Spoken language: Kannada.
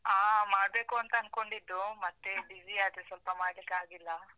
ಆ ಮಾಡಬೇಕು ಅಂತ ಅನ್ಕೊಂಡಿದ್ದು, ಮತ್ತೆ busy ಯಾದೆ ಸ್ವಲ್ಪ ಮಾಡ್ಲಿಕ್ಕಾಗಿಲ್ಲ.